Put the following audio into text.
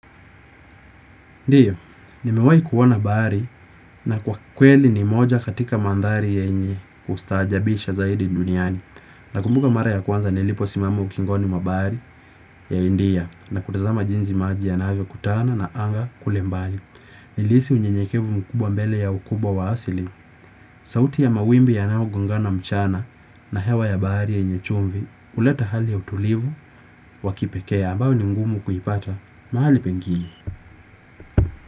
Ndiyo, nimewahi kuona bahari na kwa kweli ni moja katika mandhari yenye ustajabisha zaidi duniani. Na kumbuka mara ya kwanza nilipo simama ukingoni mwa bahari ya india na kutazama jinsi maji ya navyo kutana na anga kule mbali. Nilisi unyenyekevu mkubwa mbele ya ukubwa wa asili. Sauti ya mawimbi ya nao gongana mchana na hewa ya bahari yenye chumvi. Uleta hali ya utulivu wakipekee ambao ni ngumu kuipata mahali pengine.